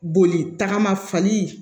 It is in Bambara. Boli tagama fali